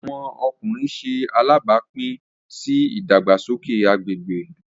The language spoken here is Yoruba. Awọn ọkunrin ṣe alabapin si idagbasoke agbegbe.